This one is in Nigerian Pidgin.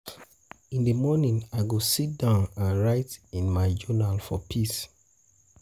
In the morning, I go sit down and write in my journal for peace.